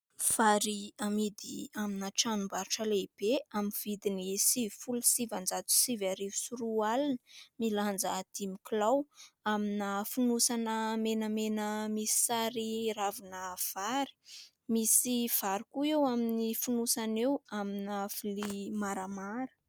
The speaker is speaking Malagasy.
Vary amidy amina tranombarotra lehibe amin'ny vidiny sivifolo sy sivinjato sy sivy arivo sy roa alina, milanja dimy kilao amina fonosana menamena misy sary ravina vary. Misy vary koa eo amin'ny fonosana eo amina vilia maramara.